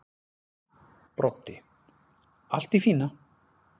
Broddi: Allt í fína.